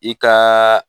I kaaa